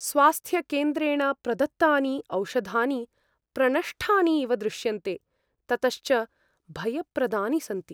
स्वास्थ्यकेन्द्रेण प्रदत्तानि औषधानि प्रणष्टानि इव दृश्यन्ते, ततश्च भयप्रदानि सन्ति।